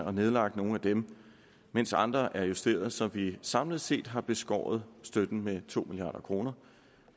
og nedlagt nogle af dem mens andre er blevet justeret så vi samlet set har beskåret støtten med to milliard kroner